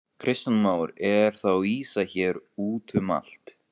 Kristján Már: Er þá ýsa hér útum allt?